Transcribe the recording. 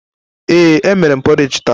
Ee, emere m porridge taa.